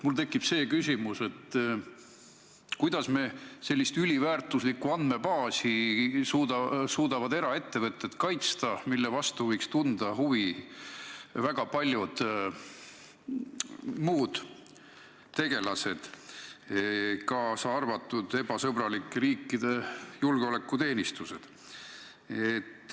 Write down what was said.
Mul tekib küsimus, et kuidas suudavad eraettevõtjad kaitsta sellist üliväärtuslikku andmebaasi, mille vastu võiksid huvi tunda väga paljud muud tegelased, kaasa arvatud ebasõbralike riikide julgeolekuteenistused.